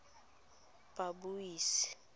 babuisi